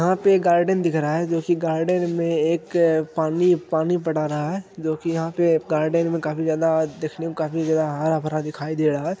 यहाँ पे एक गार्डन दिख रहा है जो की गार्डन में एक पानी पानी पटा रहा है जो की यहाँ पे गार्डन में काफी ज्यादा देखने में काफी ज्यादा हरा भरा दिखाई दे रहा है।